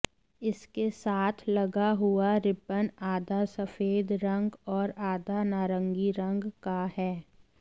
इसके साथ लगा हुआ रिबन आधा सफेद रंग और आधा नारंगी रंग का है